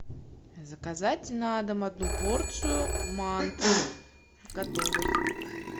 заказать на дом одну порцию манты готовых